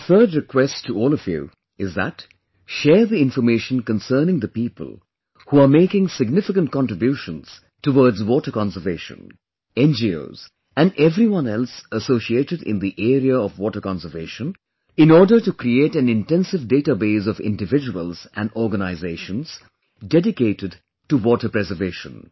My third request to all of you is that share the information concerning the people who are making significant contributions towards water conservation, NGOs and everyone else associated in the area of water conservation in order to create an intensive database of individuals and organizations dedicated to water preservation